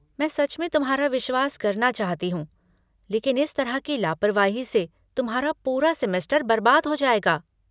मैं सच में तुम्हारा विश्वास करना चाहती हूँ लेकिन इस तरह की लापरवाही से तुम्हारा पूरा सेमेस्टर बर्बाद हो जाएगा।